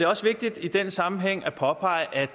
også vigtigt i den sammenhæng at påpege at